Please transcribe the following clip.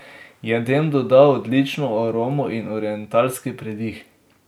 Jedem doda odlično aromo in orientalski pridih.